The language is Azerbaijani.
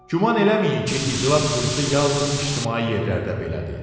Güman eləməyin ki, iclas qurusu yalnız ictimai yerlərdə belədir.